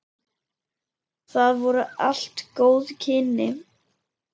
Það voru allt góð kynni.